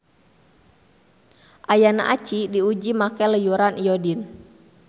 Ayana aci diuji make leyuran iodin.